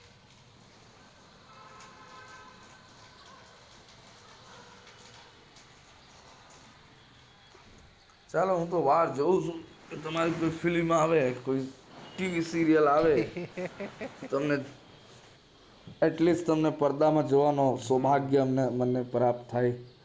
ચાલો હૂતો રાહ જોઉં છુ તમારી કોઈ film serial આવે તો તમને પરદા પાર જોવાનો સૌભાગ્ય પ્રાપ્ત થાય